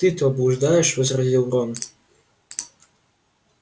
ты-то блуждаешь возразил рон